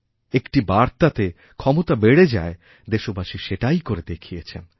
একটিবার্তাতে ক্ষমতা বেড়ে যায় দেশবাসী সেটাই করে দেখিয়েছেন